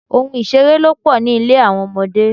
Ohun ìṣeré ló pò ní ilé àwọn ọmọdé.